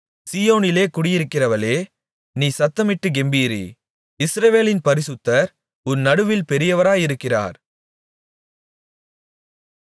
சீயோனில் குடியிருக்கிறவளே நீ சத்தமிட்டுக் கெம்பீரி இஸ்ரவேலின் பரிசுத்தர் உன் நடுவில் பெரியவராயிருக்கிறார்